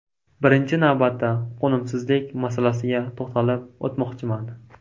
Birinchi navbatda qo‘nimsizlik masalasiga to‘xtalib o‘tmoqchiman.